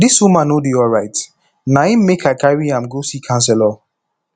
dis woman no dey alright na im make i carry am go see counselor